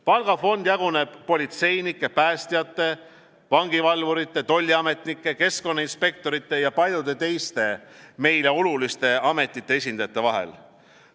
Palgafond jaguneb politseinike, päästjate, vangivalvurite, tolliametnike, keskkonnainspektorite ja paljude teiste meile oluliste ametite esindajate vahel.